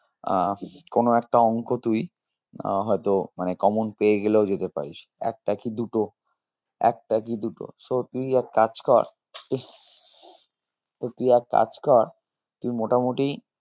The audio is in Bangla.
আহ কোনো একটা অঙ্ক তুই আহ হয়তো মানে common পেয়ে গেলেও যেতে পারিস একটা কি দুটো একটা কি দুটো so তুই এক কাজ কর তো তুই এক কাজ কর তুই মোটামোটি